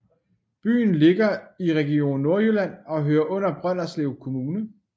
Byen ligger i Region Nordjylland og hører under Brønderslev Kommune